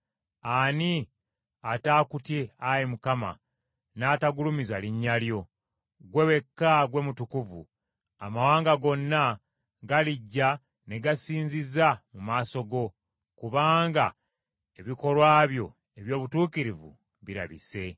Ani ataakutye Ayi Mukama, n’atagulumiza linnya lyo? Ggwe wekka gwe Mutukuvu, amawanga gonna galijja ne gasinziza mu maaso go, Kubanga ebikolwa byo eby’obutuukirivu birabise.”